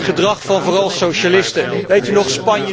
Het gedrag van vooral socialisten. Weet u nog?